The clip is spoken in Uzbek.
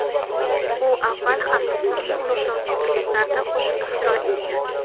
U avval ham islomni ulug‘lovchi kliplarda qo‘shiq ijro etgan.